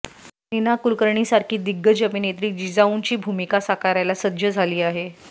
नीना कुळकर्णींसारखी दिग्गज अभिनेत्री जिजाऊंची भूमिका साकारायला सज्ज झाली आहे